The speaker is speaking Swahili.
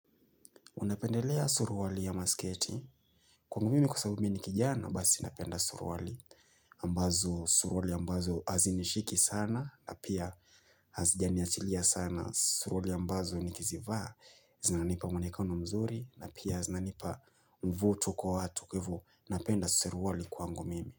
Unapendelea suruwali ya masketi. Kwangu mimi kwa sababu mimi ni kijana basi napenda suruwali ambazo suruwali ambazo hazinishiki sana na pia hazijaniachilia sana suruwali ambazo nikizivaa. Zinanipa mwonekano mzuri na pia zinanipa mvuto kwa watu kwa hivo. Napenda suruwali kwa mimi.